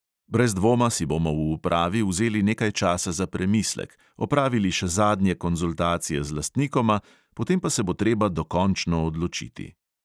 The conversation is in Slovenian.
"Brez dvoma si bomo v upravi vzeli nekaj časa za premislek, opravili še zadnje konzultacije z lastnikoma, potem pa se bo treba dokončno odločiti."